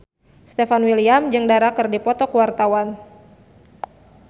Stefan William jeung Dara keur dipoto ku wartawan